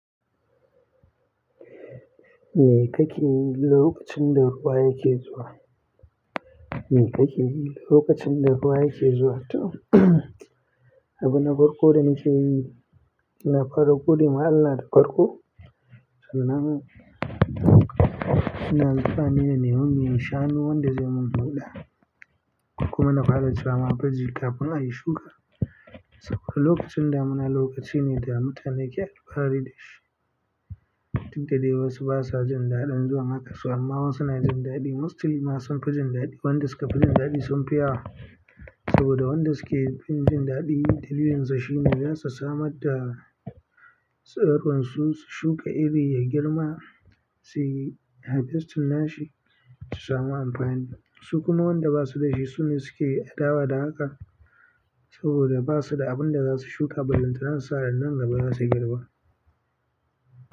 Me kake yi lokacin da ruwa yake zuwa? Me kake yi lokacin da ruwa yake zuwa? To abina farko da nake yi, na fara gode ma Allah da farko, ina sa anemi mai shanu wanda zai man buɗa kuma na fara zama cewa ma baji kafin ayi shuka saboda lokacin da muna lokaci ne da mutane ke alfahari da shi. Duk da dai wasu basa jin daɗin zuwa haka su amma wasu na jin daɗi. Mostly na son fi jin daɗi, wanda suka fi jin daɗi sunfi yawa saboda wanda suke fin jin daɗi dalilin sa shi ne zasu samar da tsiron su shuka iri ya girma, suyi harvesting nashi su samu amfani. Su kuma wanda basu da shi su ne suke adawa da haka saboda basu da abin da za su shuka ballantana susa nan gaba za su girma.